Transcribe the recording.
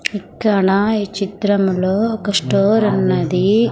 ఇక్కడ ఈ చిత్రంలో ఒక స్టోర్ ఉన్నది.